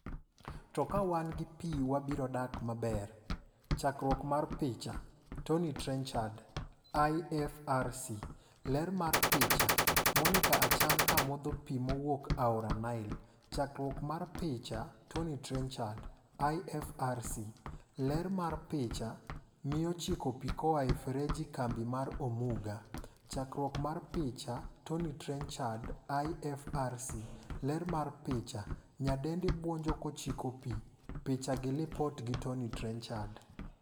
" To kawan gi pii wabiro dak" Chkruok mar picha, Tommy Trenchard / IFRC. Ler mar picha. Monica Achan ko modho pii mowuok aora Nile. Chakruok mar picha, Tommy Trenchard / IFRC. Ler mar picha, Miyo chiko pii koa e ferejie kambi mar Omuga. Chakruok mar picha, Tommy Trenchard / IFRC .Ler mar picha, Nyadendi buonjo ko chiko pii. Picha gi Lipot gi Tommy Trenchard.